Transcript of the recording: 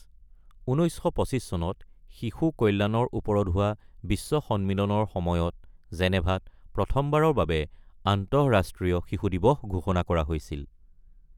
১৯২৫ চনত শিশু কল্যাণৰ ওপৰত হোৱা বিশ্ব সন্মিলনৰ সময়ত জেনেভাত প্ৰথমবাৰৰ বাবে আন্তঃৰাষ্ট্ৰীয় শিশু দিৱস ঘোষণা কৰা হৈছিল।